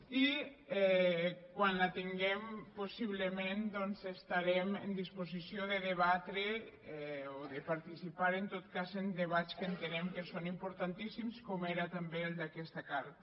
i quan la tinguem possiblement doncs estarem en disposició de debatre o de participar en tot cas en debats que entenem que són importantíssims com ho era també el d’aquesta carta